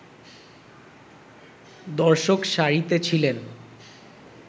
দর্শক সারিতে ছিলেন